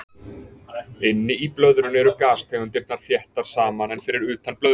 Inni í blöðrunni eru gastegundirnar þéttar saman en fyrir utan blöðruna.